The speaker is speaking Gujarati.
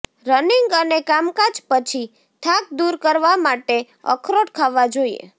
રનિંગ અને કામકાજ પછી થાક દુર કરવા માટે અખરોટ ખાવા જોઈએ